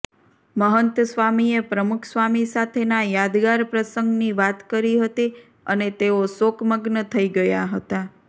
મહંત સ્વામીએ પ્રમુખસ્વામી સાથેના યાદગાર પ્રસંગની વાત કરી હતી અને તેઓ શોકમગ્ન થઈ ગયા હતાં